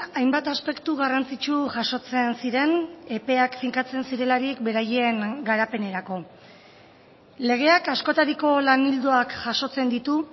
hainbat aspektu garrantzitsu jasotzen ziren epeak finkatzen zirelarik beraien garapenerako legeak askotariko lan ildoak jasotzen ditu